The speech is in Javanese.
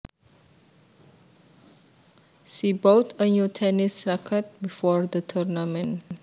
She bought a new tennis racquet before the tournament